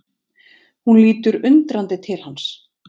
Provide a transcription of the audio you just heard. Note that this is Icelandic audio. Hún lítur undrandi til hans.